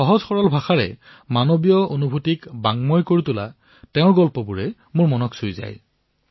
সহজসৰল ভাষাত মানৱীয় সংবেদনাক অভিব্যক্ত কৰা তেওঁৰ কাহিনীসমূহে মোৰ মন চুই গল